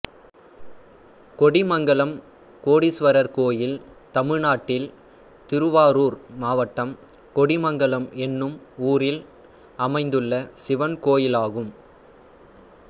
கொடிமங்கலம் கோடீஸ்வரர் கோயில் தமிழ்நாட்டில் திருவாரூர் மாவட்டம் கொடிமங்கலம் என்னும் ஊரில் அமைந்துள்ள சிவன் கோயிலாகும்